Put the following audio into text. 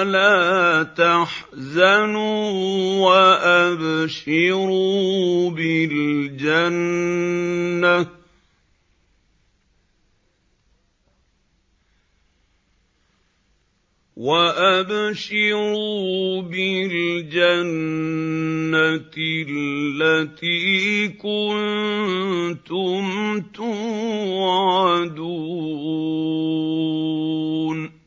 وَلَا تَحْزَنُوا وَأَبْشِرُوا بِالْجَنَّةِ الَّتِي كُنتُمْ تُوعَدُونَ